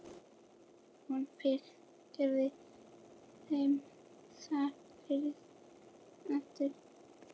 Hún fylgdi þeim fast eftir.